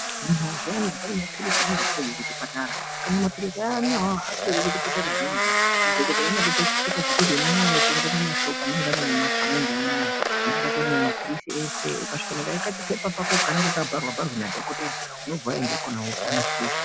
Munhu zviyani unomapirizi aunopihwe kuchipatara, kana mapiritsi ayana iwawo apere kuchipatara zviyani kaa, madhokodheyaa anokupa chipepa chekuti unonotenga kumashop anenge ari mumataundi anaya, anenge atori nemapiritsi ese, ukasvika nekachipepa kakoko kanenge kabharwaa bharwee nadhokotera unobva waenda kona wopiwaa mapiritsi.